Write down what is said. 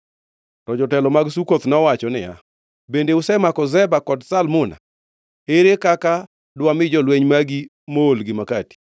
To jotelo mag Sukoth nowacho niya, “Bende usemako Zeba kod Zalmuna? Ere kaka dwami jolweny magi moolgi makati?”